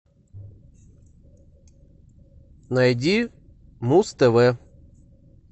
найди муз тв